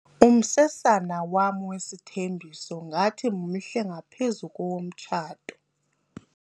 Umsesana wam wesithembiso ngathi mhle ngaphezu kowomtshato.